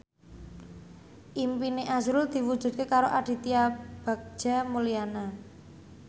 impine azrul diwujudke karo Aditya Bagja Mulyana